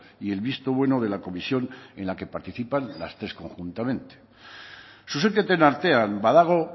y el visto bueno de la comisión en la que participan las tres conjuntamente zuzenketen artean badago